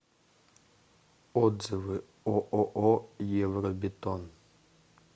отзывы ооо евробетон